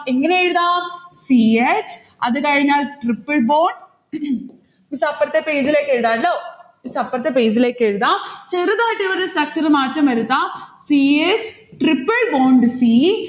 എങ്ങനെയെഴുതാം? c h അത് കഴിഞ്ഞാൽ triple bond miss അപ്പുറത്തെ page ലേക്കെഴുതാ ട്ടോ. miss അപ്പുറത്തെ page ലേക്കെഴുതാo. ചെറുതായിട്ടൊരു structure മാറ്റം വരുത്താം. c h tripple bond c